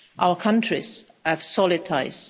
Our countries have solid